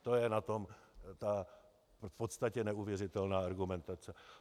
To je na tom ta v podstatě neuvěřitelná argumentace.